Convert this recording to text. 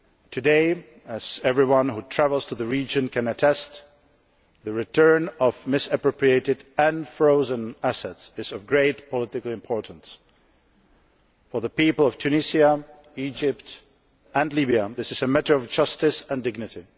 Today, as everyone who travels to the region can attest, the return of misappropriated and frozen assets is of great political importance. For the people of Tunisia, Egypt and Libya, this is a matter of justice and dignity.